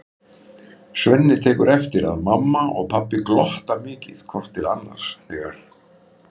Svenni tekur eftir að mamma og pabbi glotta mikið hvort til annars þegar